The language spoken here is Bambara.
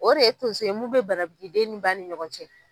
O de ye tonso ye mun bɛ banabili den ni ba ni ɲɔgɔn cɛ.